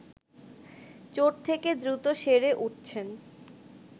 চোট থেকে দ্রুত সেরে উঠছেন